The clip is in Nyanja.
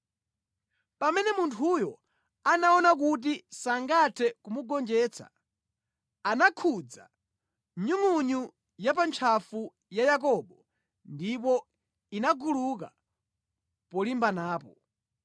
Pamene munthuyo anaona kuti sangathe kumugonjetsa, anakhudza nyungʼunyu ya pa ntchafu ya Yakobo ndipo inaguluka polimbanapo.